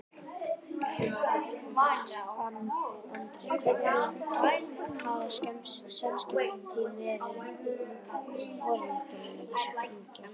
Andri: Hvernig hafa samskipti þín verið við foreldra þessara drengja?